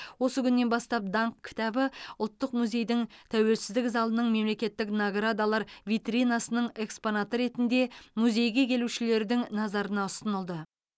осы күннен бастап даңқ кітабы ұлттық музейдің тәуелсіздік залының мемлекеттік наградалар витринасының экспонаты ретінде музейге келушілердің назарына ұсынылды